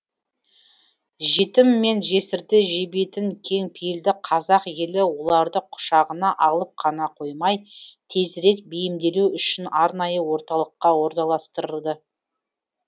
жетім мен жесірді жебейтін кең пейілді қазақ елі оларды құшағына алып қана қоймай тезірек бейімделуі үшін арнайы орталыққа орналастырылды